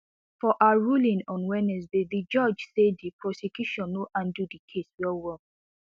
for her ruling on wednesday di judge say di prosecution no handle di case wellwell